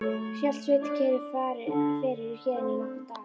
Hélt Sveinn kyrru fyrir í heiðinni í nokkra daga.